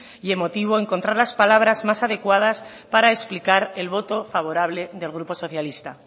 y emotivo encontrar las palabras más adecuadas para explicar el voto favorable del grupo socialista